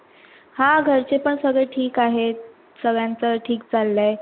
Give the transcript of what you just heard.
हा, घरचे पण सगळे ठिक आहेत.